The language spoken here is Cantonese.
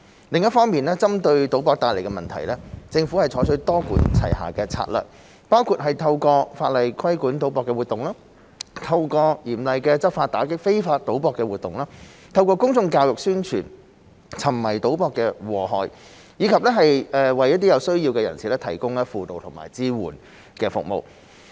另一方面，針對賭博帶來的問題，政府採取多管齊下的策略，包括透過法例規管賭博活動、透過嚴厲的執法打擊非法賭博活動、透過公眾教育宣傳沉迷賭博的禍害，以及為有需要人士提供輔導和支援服務。